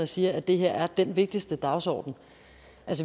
siger at det her er den vigtigste dagsorden